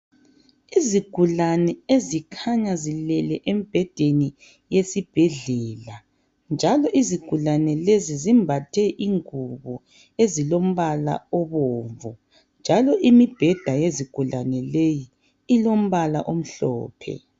Izigulane ezikhanya zilele emibhedheni yesibhedlela. Njalo izigulane lezi zimbathe ingubo ezilombala obomvu. Njalo imibheda yezigulane leyi ilombala omhlophe .